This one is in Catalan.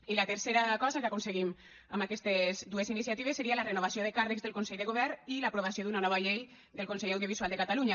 i la tercera cosa que aconseguim amb aquestes dues iniciatives seria la renovació de càrrecs del consell de govern i l’aprovació d’una nova llei del consell audiovisual de catalunya